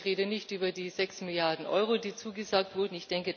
Ich rede nicht über die sechs Milliarden Euro, die zugesagt wurden.